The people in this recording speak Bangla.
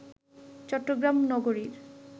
চট্টগ্রাম নগরীর